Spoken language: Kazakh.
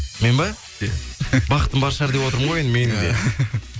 мен ба иә бақытым бар шығар деп отырмын ғой менің де